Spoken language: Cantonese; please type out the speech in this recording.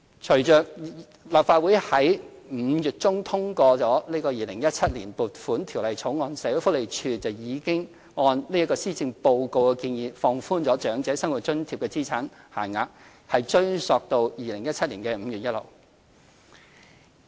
隨着立法會於5月中通過《2017年撥款條例草案》，社會福利署已按施政報告的建議，放寬長者生活津貼的資產限額，並追溯至2017年5月1日。